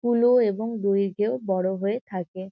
স্থুল এবং দৈর্ঘ্যেও বড়ো হয়ে থাকে।